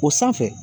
O sanfɛ